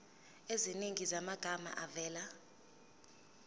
eziningi zamagama avela